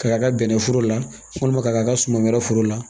K'a ka bɛnnɛforo la walima ka suman wɛrɛ foro la